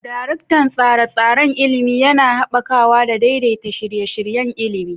Daraktan Tsare-tsaren Ilimi: Yana haɓakawa da daidaita shirye-shiryen ilimi.